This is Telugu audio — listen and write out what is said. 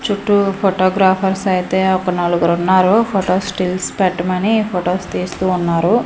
చుట్టూ ఫొటో గ్రాఫర్స్ అయితే ఒక నాలుగురున్నారు ఫొటోస్ స్టిల్స్ పెట్టమని ఫొటోస్ తీస్తూ ఉన్నారు.